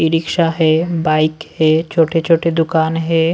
ई rickshaw है bike है छोटे-छोटे दुकान है।